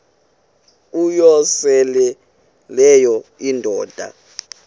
uyosele leyo indoda